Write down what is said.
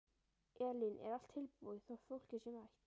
Elín: Er allt tilbúið þótt fólkið sé mætt?